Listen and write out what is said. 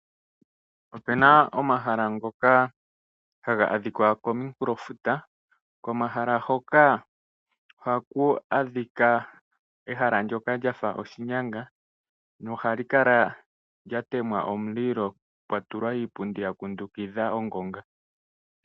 Opuna omahala ngoka haga adhika kominkulofuta, komahala hoka ohaku adhika ehala ndoka lyafa oshinyanga nohali kala lya tema omulilo, pwa tulwa iipundi ya kundukidha ongonga.